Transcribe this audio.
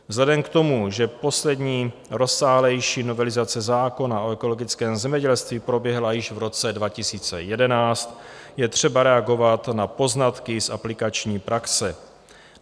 Vzhledem k tomu, že poslední rozsáhlejší novelizace zákona o ekologickém zemědělství proběhla již v roce 2011, je třeba reagovat na poznatky z aplikační praxe.